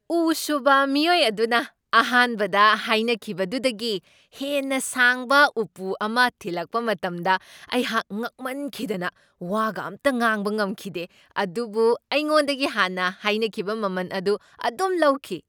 ꯎ ꯁꯨꯕ ꯃꯤꯑꯣꯏ ꯑꯗꯨꯅ ꯑꯍꯥꯟꯕꯗ ꯍꯥꯏꯅꯈꯤꯕꯗꯨꯗꯒꯤ ꯍꯦꯟꯅ ꯁꯥꯡꯕ ꯎꯄꯨ ꯑꯃ ꯊꯤꯂꯛꯄ ꯃꯇꯝꯗ ꯑꯩꯍꯥꯛ ꯉꯛꯃꯟꯈꯤꯗꯅ ꯋꯥꯒ ꯑꯝꯇ ꯉꯥꯡꯕ ꯉꯝꯈꯤꯗꯦ, ꯑꯗꯨꯕꯨ ꯑꯩꯉꯣꯟꯗꯒꯤ ꯍꯥꯟꯅ ꯍꯥꯏꯅꯈꯤꯕ ꯃꯃꯟ ꯑꯗꯨ ꯑꯗꯨꯝ ꯂꯧꯈꯤ꯫